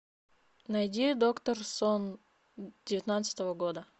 найди доктор сон девятнадцатого года